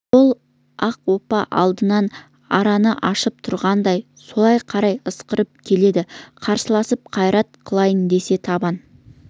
сол ақ оппа алдынан аранын ашып тұрғандай солай қарай ысырып келеді қарсыласып қайрат қылайын десе табан